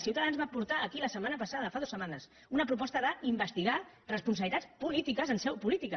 ciutadans va portar aquí la setmana passada fa dues setmanes una proposta d’investigar responsabilitats polítiques en seu política